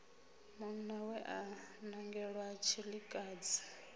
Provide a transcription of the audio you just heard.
munna we a nangelwa tshilikadzi